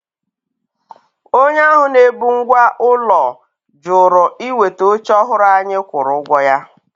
Onye ahụ na-ebu ngwá ụlọ jụrụ iweta oche ọhụrụ anyị kwụrụ ụgwọ ya.